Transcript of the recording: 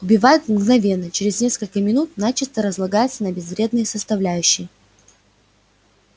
убивает мгновенно через несколько минут начисто разлагается на безвредные составляющие